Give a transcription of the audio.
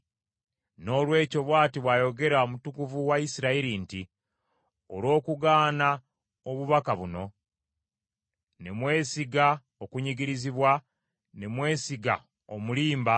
Noolwekyo bw’ati bw’ayogera Omutukuvu wa Isirayiri nti, “Olw’okugaana obubaka buno, ne mwesiga okunyigirizibwa, ne mwesiga omulimba,